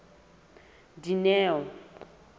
dineo